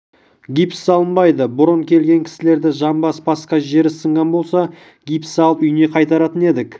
гипс салынбайды бұрын келген кісілерді жамбас басқа жері сынған болса гипс салып үйіне қайтаратын едік